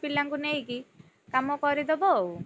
ପିଲାଙ୍କୁ ନେଇକି, କାମ କରି ଦବ ଆଉ।